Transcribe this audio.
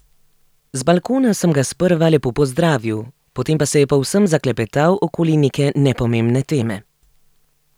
Z balkona sem ga sprva lepo pozdravil, potem pa se je povsem zaklepetal okoli neke nepomembne teme.